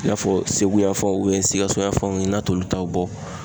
I n'a fɔ Segu yan fanw Sikaso yanfanw n'a t'olu taw bɔ